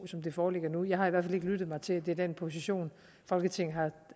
som den foreligger nu jeg har i hvert fald lyttet mig til at det er den position folketinget